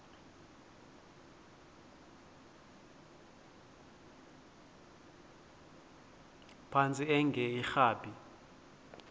phantsi enge lrabi